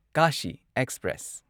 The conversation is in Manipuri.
ꯀꯥꯁꯤ ꯑꯦꯛꯁꯄ꯭ꯔꯦꯁ